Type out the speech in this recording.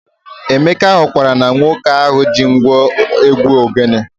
Emeka hụkwara na nwoke ahụ ji ngwo egwu ogene